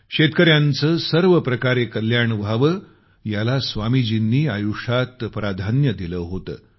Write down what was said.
शेतकऱ्यांचं सर्व प्रकारे कल्याण व्हावं याला स्वामीजीनी आयुष्यात प्राधान्य दिलं होतं